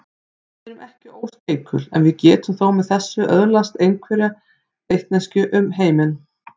Við erum ekki óskeikul en getum þó með þessu móti öðlast einhverja vitneskju um heiminn.